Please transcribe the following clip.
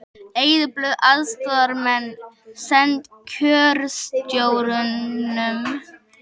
Eyðublöð fyrir aðstoðarmenn send kjörstjórnum